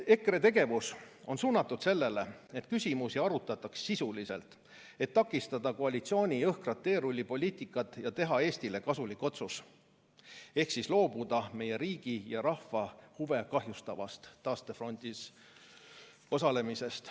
EKRE tegevus on suunatud sellele, et küsimusi arutataks sisuliselt, et takistada koalitsiooni jõhkrat teerullipoliitikat ja teha Eestile kasulik otsus ehk loobuda meie riigi ja rahva huve kahjustavast taastefondis osalemisest.